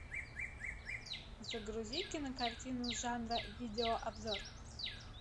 загрузи кинокартину жанра видеообзор